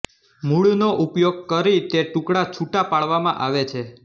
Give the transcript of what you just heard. મૂળનો ઉપયોગ કરી તે ટુકડા છુટા પાડવામાં આવે છે